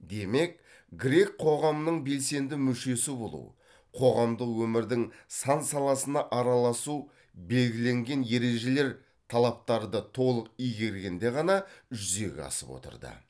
демек грек қоғамының белсенді мүшесі болу қоғамдық өмірдің сан саласына араласу белгіленген ережелер талаптарды толық игергенде ғана жүзеге асып отырды